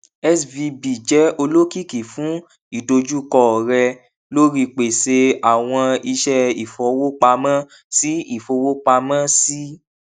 svb jẹ olokiki fun idojukọ rẹ lori pese awọn iṣẹ ifowopamọ si ifowopamọ si